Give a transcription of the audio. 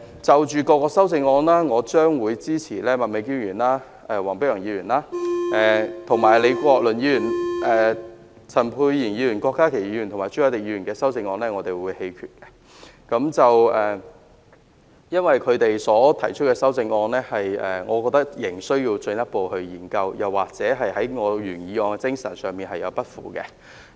就各項修正案而言，我將會支持麥美娟議員、黃碧雲議員及李國麟議員的修正案，而陳沛然議員、郭家麒議員及朱凱廸議員的修正案，我們會投棄權票，因為我認為他們在修正案中所提出的觀點，仍需要進一步研究，又或是有違我原議案的精神。